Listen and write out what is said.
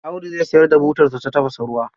Audu zai sayar da butarsa ta tafasa ruwa.